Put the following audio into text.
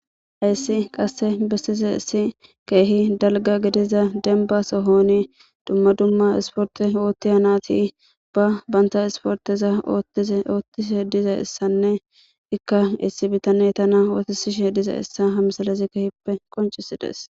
hayissi qasse besizayisi krhi darro daligga gidiza demibba sohoni duma duma isiporite othiya natti banitta isiporiteza othishe dizayissane ika issi bitaneyi enitta osiye dizayissa hayisi misileyi qonicise